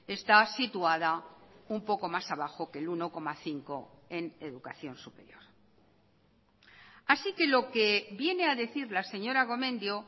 está situada un poco más abajo que el uno coma cinco en educación superior así que lo que viene a decir la señora gomendio